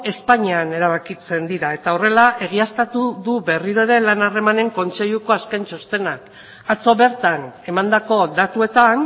espainian erabakitzen dira eta horrela egiaztatu du berriro ere lan harremanen kontseiluko azken txostenak atzo bertan emandako datuetan